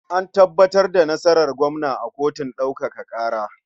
An tabbatar da nasarar gwamna a kotun ɗaukaka ƙara.